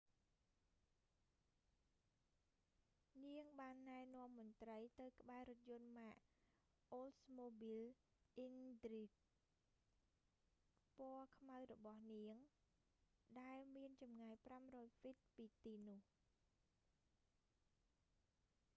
នាងបានណែនាំមន្រ្តីទៅក្បែររថយន្តម៉ាក អូលស្មូប៊ីល អ៊ិនទ្រីហ្គ oldsmobile intrigue ពណ៌ខ្មៅរបស់នាង ដែលមានចម្ងាយ 500ហ្វីត ពីទីនោះ